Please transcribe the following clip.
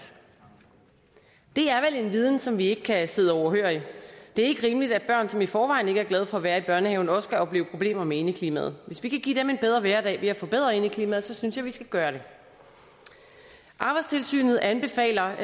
det er vel en viden som vi ikke kan sidde overhørig det er ikke rimeligt at børn som i forvejen ikke er glade for at være i børnehaven også skal opleve problemer med indeklimaet hvis vi kan give dem en bedre hverdag ved at forbedre indeklimaet synes jeg at vi skal gøre det arbejdstilsynet anbefaler